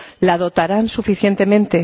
¿La dotarán suficientemente?